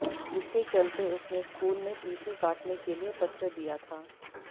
जिसके चलते उसने स्कूल में टीसी काटने के लिए पत्र दिया था